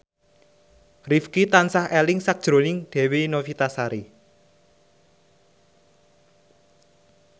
Rifqi tansah eling sakjroning Dewi Novitasari